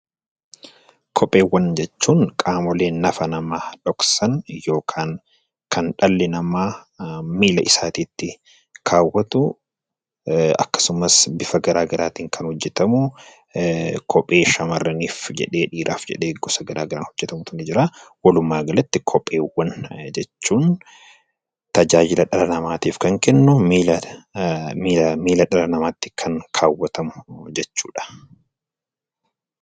Kopheewwan jechuun qaamolee nafa namaa dhoksan yookaan kan dhalli namaa miila isaatti kaawwatu akkasumas bifa garaagaraatiin kan hojjetamu kophee shamaarraniif jedhee kophee dhiiraaf jedhee gosa garaagaraa hojjetamutu jira. Walumaa galatti kophee jechuun tajaajila dhala namaatiif kan kennu miila namaatti kan kaawwatamu jechuudha.